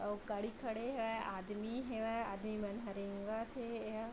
अउ गाड़ी खड़े हेवय आदमी हेवय आदमी मन ह रेंगत थे एहा --